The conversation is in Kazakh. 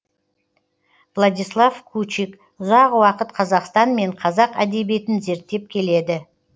владислав кучик ұзақ уақыт қазақстан мен қазақ әдебиетін зерттеп келеді